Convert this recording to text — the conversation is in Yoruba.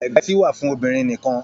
Ègbà etí wà fún obìnrin nì kan.